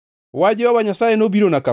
Wach Jehova Nyasaye nobirona kama: